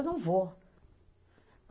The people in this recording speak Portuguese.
Eu não vou.